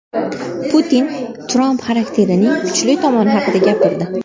Putin Tramp xarakterining kuchli tomoni haqida gapirdi.